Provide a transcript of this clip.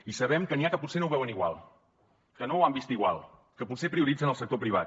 i sabem que n’hi ha que potser no ho veuen igual que no ho han vist igual que potser prioritzen el sector privat